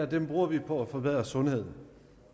der bruger vi på at forbedre sundheden